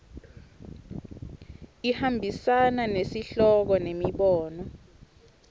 ihambisana nesihloko nemibono